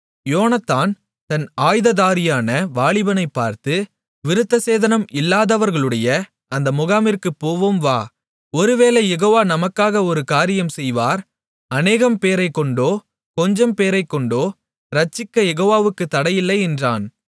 யோனத்தான் தன் ஆயுததாரியான வாலிபனை பார்த்து விருத்தசேதனம் இல்லாதவர்களுடைய அந்த முகாமிற்குப் போவோம் வா ஒருவேளை யெகோவா நமக்காக ஒரு காரியம் செய்வார் அநேகம் பேரைக்கொண்டோ கொஞ்சம்பேரைக்கொண்டோ இரட்சிக்கக் யெகோவாவுக்குத் தடையில்லை என்றான்